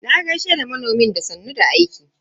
Na gaishe da manomin da sannun da aiki.